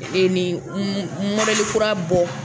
ni kura bɔ.